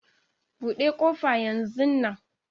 Buɗe ƙofa yanzu nan